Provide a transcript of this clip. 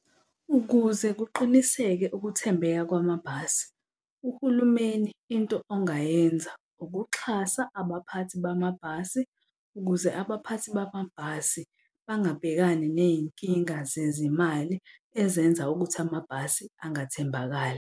Ukuze kuqiniseke ukuthembeka kwamabhasi, uhulumeni into ongayenza ukuxhasa abaphathi bamabhasi ukuze abaphathi bamabhasi bangabhekani ney'nkinga zezimali ezenza ukuthi amabhasi angathembakali.